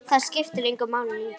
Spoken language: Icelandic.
Það skiptir engu máli lengur.